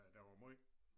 Den var måj